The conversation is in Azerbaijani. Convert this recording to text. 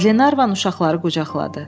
Qlenarvan uşaqları qucaqladı.